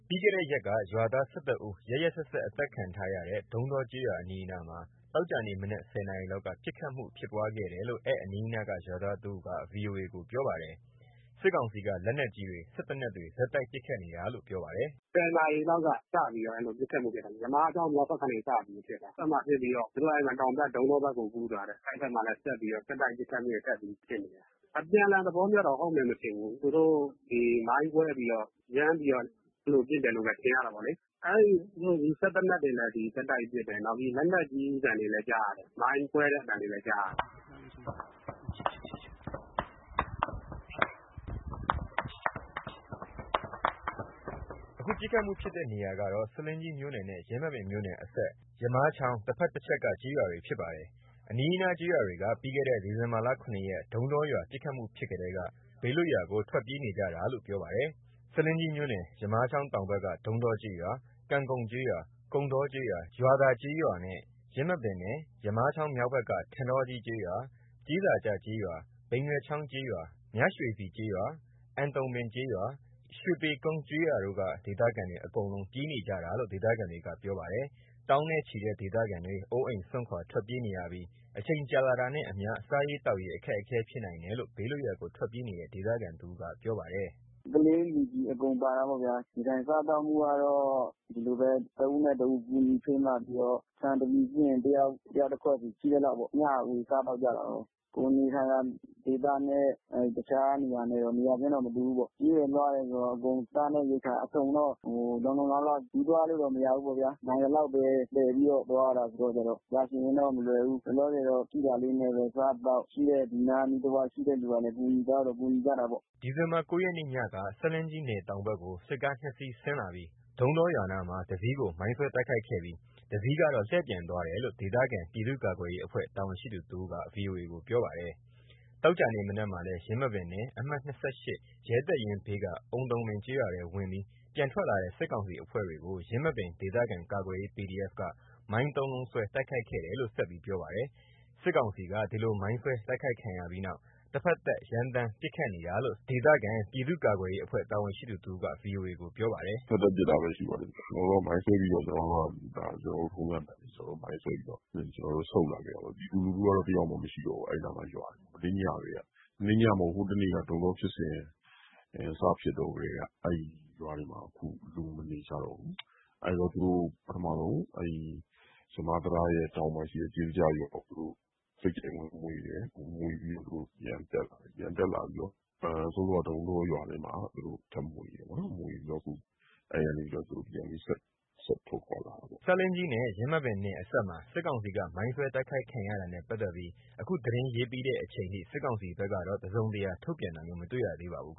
ပြီးခဲ့တဲ့ရက်က ရွာသား ၁၁ ဦး ရက်ရက်စက်စက် အသတ်ခံထားရတဲ့ ဒုန်းတောကျေးရွာအနီးနားမှာ ဒီနေ့ မနက် ၁၀ နာရီလောက်က ပစ်ခတ်မှုဖြစ်ပွားခဲ့တယ်လို့ အနီးအနား ရွာသားတဦးက VOA ကို ပြောပါတယ်။ စစ်ကောင်စီက လက်နက်ကြီးတွေ စက်သေနတ်တွေ ဆက်တိုက်ပစ်ခတ်နေတာလို့ ပြောပါတယ်။ “၁၀ နာရီလောက်က စပြီးတော့ အဲ့လိုမျိုး ပစ်ခတ်မှုဖြစ်တာ ယမားချောင်းမြောက်ဘက်ကနေ စပြီးဖြစ်တာ။ အဲ့မှာ ဖြစ်ပြီးတော့ သူတို့အဲ့မှာ တောင်ဘက် ဒုန်းတောဘက်ကို ကူးသွားတယ်။ အဲ့ဘက်မှာလည်း ဆက်ပြီးတော့ ဆက်တိုက်ပစ်ခတ်မှုတွေ ထပ်ပြီး ပစ်နေတယ်။ အပြန်အလှန်သဘောမျိုးတော့ ဟုတ်မယ်မထင်ဘူး။ သူတို့ ဒီမိုင်းခွဲပြီးတော့ ရမ်းပြီးတော့ သူတို့ ပစ်တယ်လို့ပဲ ထင်ရတာပေါ့လေး။ အဲ့ စက်သေနတ်တွေလည်း ဆက်တိုက်ပစ်တယ်။ နောက်လက်နက်ကြီးသံတွေလည်း ကြားရတယ်။ မိုင်းခွဲတဲ့ အသံတွေလည်း ကြားရတယ်။” အခု ပစ်ခတ်မှုဖြစ်တဲ့ နေရာကတော့ ဆားလင်းကြီးမြို့နယ်နဲ့ ယင်းမာပင်မြို့နယ် အစပ်မှာ ယမားချောင်း တဖက်တချက်က ကျေးရွာတွေဖြစ်ပါတယ်။ ပစ်ခတ်မှု အနီးအနားကျေးရွာတွေက ပြီးခဲ့တဲ့ ဒီဇင်ဘာ ၇ ရက် ဒုန်းတောရွာ ပစ်ခတ်မှုဖြစ်ကတည်းက ဘေးလွတ်ရာကို ထွက်ပြေးနေကြတာလို့ ပြောပါတယ်။ ဆားလင်းကြီးမြို့နယ် ယမားချောင်းတောင်ဘက်က ဒုန်းတောကျေးရွာ၊ ကံကုန်ကျေးရွာ၊ ကုန်တောကျေးရွာ၊ ရွာသာကျေးရွာ နဲ့ ယင်းမာပင်နယ် ယမားချောင်းမြောက်ဘက်က ထန်တောကြီးကျေးရွာ၊ ကျေးစာကျကျေးရွာ၊ ဘိန်နွယ်ချောင်းကျေးရွာ၊ မြရွှေစည်ကျေးရွာ၊ အုန်တုံပင်ကျေးရွာ၊ ရွှေပေကုန်းကျေးရွာတို့က ဒေသခံတွေ အကုန်လုံး ပြေးကြနေတာလို့ ဒေသခံတွေက ပြောပါတယ်။ သောင်းနဲ့ ချီတဲ့ ဒေသခံတွေ အိုးအိမ်စွန့်ခွာ ထွက်ပြေးနေရပြီး အချိန်ကြာလာတာနဲ့ အမျှ စားရေးသောက်ရေး အခက်အခဲဖြစ်နိုင်တယ်လို့ ဘေးလွတ်ရာကို ထွတ်ပြေးနေတဲ့ ဒေသခံတစ်ဦးက ပြောပါတယ်။ “ကလေး လူကြီး အကုန်ပါတာပေ့ါဗျ။ နေထိုင်စားသောက်မှုကတော့ ဒီလိုပဲ။ တဦးနဲ့ တဦး ကူညီဖေမပြီးတော့ ဆန်တပြည်ရှိရင် တစ်ယောက်တစ်ခွက်ဆီ ရှိသလောက်ပေ့ါ။ မျှဝေစားသောက်ကြတာပါပဲ။ ကိုယ်နေထိုင်ရာ ဒေသနဲ့ တခြားတနေရာနဲ့ရော နေရာခြင်းတော့ မတူဘူးပေါ့။ ပြေးတယ် လွှာတယ်ဆိုတော့ အကုန်စားနပ်ရိက္ခာ အစုံတော့ လုံလုံလောက်လောက် ယူသွားလို့တော့ မရဘူးပေါ့ဗျာ။ နိုင်သလောက်ပဲ သယ်ပြီးတော့ သွားရတယ်ဆိုတော့ ကြာရှည်ရင်တော့ မလွယ်ဘူး။ လောလောဆယ်တော့ ရှိတာလေးနဲ့ပဲ စားသောက်။ ရှိတဲ့ ဒီနားအနီးတဝိုက် ရှိတဲ့ လူကလည်း ကူညီသလောက်တော့ ကူညီကြပါတယ်။” ဒီဇင်ဘာ ၉ ရက် မနေ့ညက ဆားလင်းကြီးနယ်တောင်ဘက် စစ်ကားနှစ်စီး ဆင်းလာပြီး ဒုန်းတောရွာနားမှာ တစီးကို မိုင်းဆွဲတိုက်ခိုက်ပြီး တစ်စီးက လှည့်ပြန်သွားတယ်လို့ ဆားလင်းမြို့နယ် ပြည်သူ့ကာကွယ်ရေးအဖွဲ့ တာဝန်ရှိသူတစ်ဦးက ဗွီအိုအေကို ပြောပါတယ်။ ဒီနေ့မနက်မှာလည်း ယင်းမာပင်နယ် အမှတ် ၂၈ ရဲတပ်ရင်းဘေးက အုန်တုံပင်ကျေးရွာထဲဝင်ပြီး ပြန်ထွက်လာတဲ့ စစ်ကောင်စီအဖွဲ့တွေကို ယင်းမာပင်ဒေသခံကာကွယ်ရေး PDF က မိုင်း ၃လုံးဆွဲ တိုက်ခိုက်ခဲ့တယ်လို့ ဆက်ပြောပါတယ်။ စစ်ကောင်စီက ဒီလိုမိုင်းဆွဲတိုက်ခိုက်ခံရပြီးနောက် တဖက်သတ် ရမ်းသမ်းပစ်ခတ်နေတာလို့ ဆားလင်းမြို့နယ် ပြည်သူ့ကာကွယ်ရေးအဖွဲ့ တာဝန်ရှိသူတစ်ဦးက ဗွီအိုအေကို ပြောပါတယ်။ “တစ်ဖက်သက်ပစ်တာပဲရှိပါတယ်ဗျ။ ကျနော်တို့က မိုင်းဆွဲတော့ ဒါကျနော်တို့ ထုံစံအတိုင်းပဲ ကျနော်တို့ မိုင်းဆွဲပြီးတော့ ကျနော်တို့ ဆုတ်လာခဲ့တာပေါ့။ ပြည်သူလူထုကတော့ တစ်ယောက်မှမရှိတော့ဘူး။ အဲ့နားမှာ ရွာတွေ မနေ့ညကတည်းက မနေ့မဟုတ်ဘူး။ ဟိုတနေ့က ဒုန်းတောဖြစ်စဉ် စဖြစ်ကတည်းက အဲ့ရွာတွေမှာ အခု လူမနေကြတော့ဘူး။ အဲ့တော့ သူတို့ ပထမဆုံး အဲ့ဒီ ယမားတံတားရဲ့ တောင်မှာရှိတဲ့ ကျေးစာကျရွာကို သူတို့ ဝင်မွှေတယ်။ ဝင်မွှေပြီးတော့ သူတို့ ပြန်တက်လာတယ်။ ပြန်တက်လာပြီးတော့ စောစောဒုန်းတောရွာထဲမှာ သူတို့ထပ်မွှေတယ်ပေါ့နော်။ ထပ်မွှေပြီးတော့ အဲ့ကနေပြီးတော့ သူတို့ပြန်ဆက်ထွက်ခွာလာတာပေါ့။” ဆားလင်းကြီးနဲ့ ယင်းမာပင်နယ် အစပ်မှာ စစ်ကောင်စီက မိုင်းဆွဲတိုက်ခိုက်ခံရတာနဲ့ ပတ်သက်ပြီး အခုသတင်းရေးပြီးတဲ့အချိန်ထိ စစ်ကောင်စီဘက်ကတော့ တစုံတရားထုတ်ပြန်တာမျိုး မတွေ့ရသေးပါဘူး။